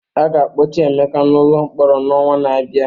A ga-akpọchi Emeka n'ụlọ mkpọrọ n'ọnwa na-abịa.